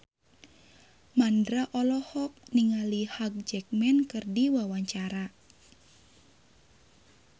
Mandra olohok ningali Hugh Jackman keur diwawancara